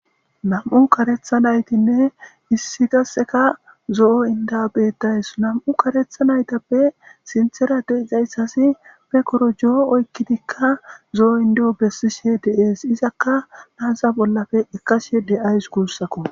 nam7u karetha naytinne issi gasseka zo7o inda beettays nam7u karetha naytappe sinthera deizayssasi pe korojoo oykkidikka zo7o indeo bessishe deees izakka naasa bollafe ekashe de7ays guussako